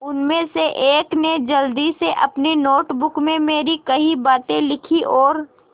उनमें से एक ने जल्दी से अपनी नोट बुक में मेरी कही बातें लिखीं और